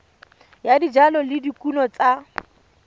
ya dijalo le dikumo tsa